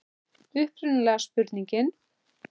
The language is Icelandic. Upprunalega spurningin: